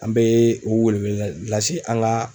An bee o welewele la lase an kaa